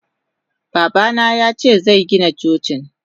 Babana yace zegina Cocin.